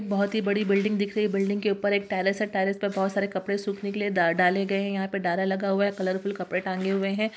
बहुत ही बड़ी बिल्डिंग दिख रही है | बिल्डिंग के उपर एक टेरेस है | टेरेस पर बहुत सारे कपडे सूखने के लिए डा -डाले गए हैं | यहां पर डारा लगा हुआ है | कलरफुल कपडे टांगे हुए हैं।